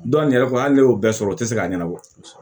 Dɔw yɛrɛ ko hali n'i y'o bɛɛ sɔrɔ o te se k'a ɲɛnabɔ